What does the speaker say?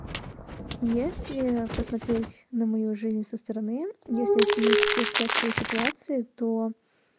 если посмотреть на мою жизнь со стороны если оценить все стрессовые ситуации то